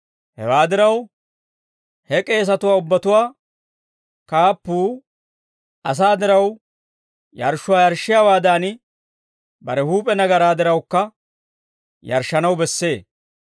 Hewaa diraw, he k'eesatuwaa ubbatuwaa kaappuu asaa diraw yarshshuwaa yarshshiyaawaadan, bare huup'e nagaraa dirawukka yarshshanaw bessee.